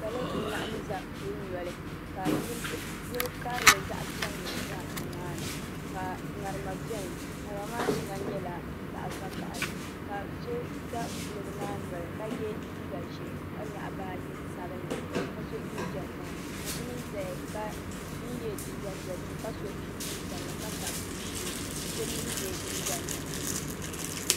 Salo n laɣim za kuli noli ka yili karili zaɣa piɛlli za nimaani ka ŋarima biɛni ŋarima maa sheŋa nyɛla zaɣa vakahali ka so za kuliga maa noli ka ye liiga ʒee ka nyaɣi baaji sabinli ka so jinjiɛm ŋmaa ka so mee zaya ka n ye liiga dozim ka so chinchini piɛlli ka tabi o shee ka so mee ye liiga nuɣuso.